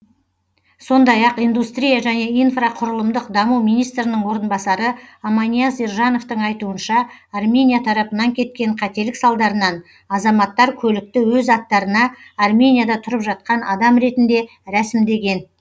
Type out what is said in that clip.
сондай ақ индустрия және инфрақұрылымдық даму министрінің орынбасары аманияз ержановтың айтуынша армения тарапынан кеткен қателік салдарынан азаматтар көлікті өз аттарына арменияда тұрып жатқан адам ретінде рәсімдеген